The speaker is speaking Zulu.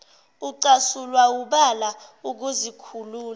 ucasulwa wubala ukuzikhulula